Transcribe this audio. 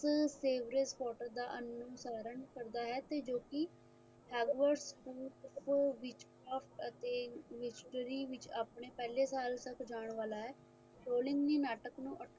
savrage potter ਦਾ ਅਨੁਸਰਨ ਕਰਦਾ ਹੈ ਤੇ ਜੋ ਕਿ hardward school wichcofe ਅਤੇ ਵਿੱਚ ਆਪਣੇ ਪਹਿਲੇ ਸਾਲ ਤੱਕ ਜਾਣ ਵਾਲਾ ਹੈ ਨਾਟਕ ਨੂੰ